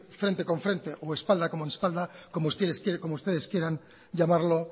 frente con frente o espalda con espalda como ustedes quieran llamarlo